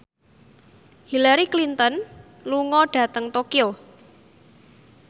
Hillary Clinton lunga dhateng Tokyo